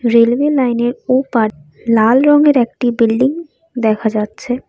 Railway লাইনের ওপার লাল রঙের একটি বিল্ডিং দেখা যাচ্ছে।